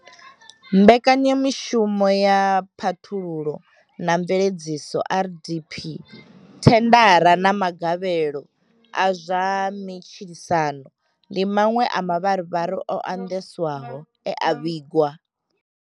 Mbekanyamishumo ya phaṱhululo na mveledziso RDP, thendara na magavhelo a zwa matshilisano ndi maṅwe a mavharivhari o andesaho e a vhigwa.